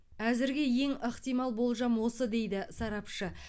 әзірге ең ықтимал болжам осы дейді сарапшы